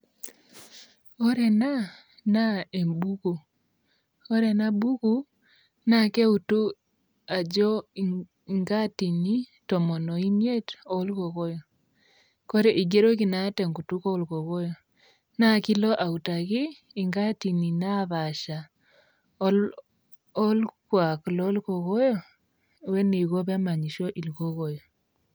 Ore ena naa embuku. Ore enabuku naa keutu ajo inkaatin tomon oo miet olkoyoyo igeroki naa tenkut oo kokoyo naa kilo autaki ingaatin naapasha olkuak loo kokoyo o eneiko pee emasho ilkokoyo.